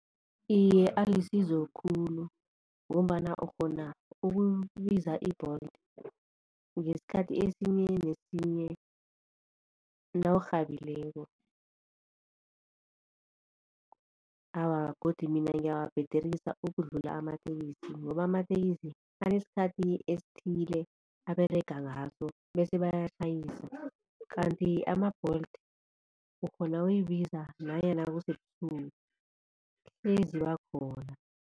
Iye alisizo khulu ngombana ukghona ukubiza i-Bolt ngesikhathi esinye nesinye nawurhabileko. Awa godi mina ngiyawabhederisa ukudlula amatekisi ngoba amatekisi anesikhathi esithile aberega ngaso bese bayatjhayisa kanti ama-Bolt ukghona ukuyibiza nanyana kusebusuku ziba khona.